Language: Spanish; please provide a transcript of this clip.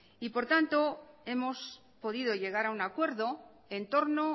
por lo tanto hemos podido llegar a un acuerdo en torno